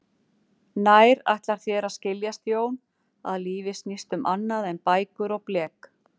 Nær ætlar þér að skiljast Jón, að lífið snýst um annað en bækur og blek?